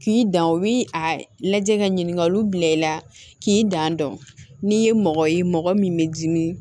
K'i dan o bi a lajɛ ka ɲininkaliw bila i la k'i dan dɔn n'i ye mɔgɔ ye mɔgɔ min bɛ dimi